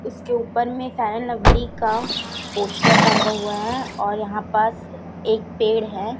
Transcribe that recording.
उसके ऊपर में फेयर लवली का पोस्टर टंगा हुआ है और यहां पास एक पेड़ है।